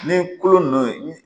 Ni kolo nunnu ye